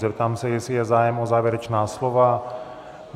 Zeptám se, jestli je zájem o závěrečná slova.